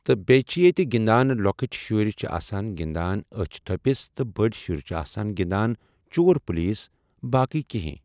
تہٕ بیٚیہِ چھِ ییٚتہِ گِنٛدان لۄکٕٹۍ شُرۍ چھِ آسان گِنٛدان أچھ تھپِس تہٕ بٔڑۍ شُرۍ چھِ آسان گِنٛدان چور پُلیٖس باقٕے کہیٖنۍ۔